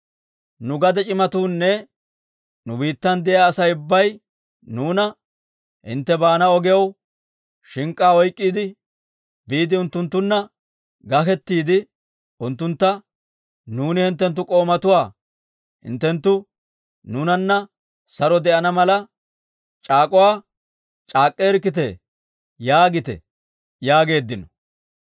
Nu gade c'imatuunne nu biittan de'iyaa Asay ubbay nuuna, ‹Hintte baana ogiyaw shink'k'aa oyk'k'iide, biide unttunttunna gakettiide unttuntta, «Nuuni hinttenttu k'oomatuwaa; hinttenttu nuunanna saro de'ana mala c'aak'uwa c'aak'k'eerkkitte» yaagite› yaageeddino.